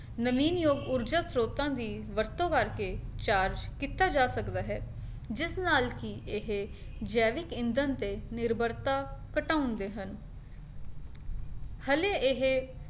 ਨਵੀਨਯੋਗ ਊਰਜਾ ਸਰੋਤਾਂ ਦੀ ਵਰਤੋਂ ਕਰਕੇ charge ਕੀਤਾ ਜਾ ਸਕਦਾ ਹੈ, ਜਿਸ ਨਾਲ ਕੀ ਇਹ ਜੈਵਿਕ ਇੰਦਣ ਤੇ ਨਿਰਭਰਤਾ ਘਟਾਉਂਦੇ ਹਨ ਹਲੇ ਇਹੇ